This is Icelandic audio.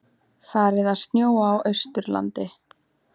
Farið að snjóa á Austurlandi